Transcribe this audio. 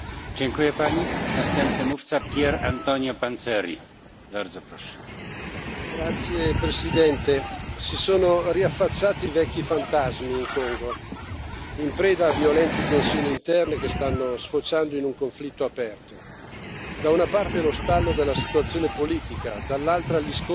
Signor Presidente, onorevoli colleghi, si sono riaffacciati i vecchi fantasmi in Congo, in preda a violenti tensioni interne che stanno sfociando in un conflitto aperto. Da una parte lo stallo della situazione politica, dall'altra gli scontri nella provincia del Kasai, con la scoperta di numerose fosse comuni.